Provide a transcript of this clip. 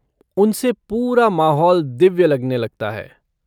उनसे पूरा माहौल दिव्य लगने लगता है।